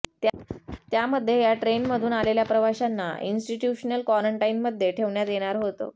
त्यामध्ये या ट्रेनमधून आलेल्या प्रवाशांना इंस्टीट्यूशनल क्वॉरंटाईनमध्ये ठेवण्यात येणार होतं